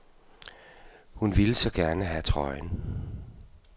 Hun ville så gerne have trøjen.